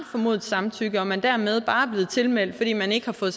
formodet samtykke og man dermed bare er blevet tilmeldt fordi man ikke har fået